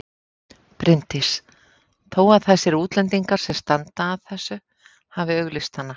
Bryndís: Þó að þessir útlendingar sem standa að þessu hafi auglýst hana?